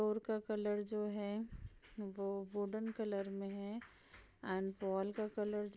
floor का colour जो है वो वुडेन कलर में है एंड वॉल का कलर --